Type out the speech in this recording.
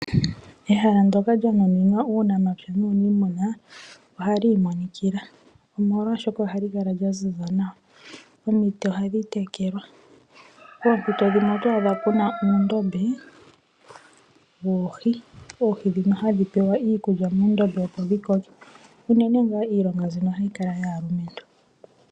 Ehala ndoka lyonuninwa uunamapya nuunimuna ohali imonikila molwa shoka ohali kala lya ziza nawa, omiti ohadhi tekelwa poompito dhimwe oto adha puna uundombe woohi ,oohi dhika hadhi pewa iikulya opo dhi koke uunene ngaa iilonga mbino ohayi kala yaalumentu.